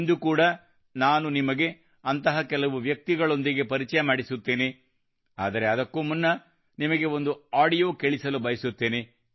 ಇಂದು ಕೂಡಾ ನಾನು ನಿಮಗೆ ಅಂತಹ ಕೆಲವು ವ್ಯಕ್ತಿಗಳೊಂದಿಗೆ ಪರಿಚಯ ಮಾಡಿಸುತ್ತೇನೆ ಆದರೆ ಅದಕ್ಕೂ ಮುನ್ನ ನಿಮಗೆ ಒಂದು ಆಡಿಯೋ ಕೇಳಿಸಲು ಬಯಸುತ್ತೇನೆ